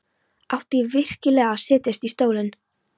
Átti ég virkilega að setjast í stólinn?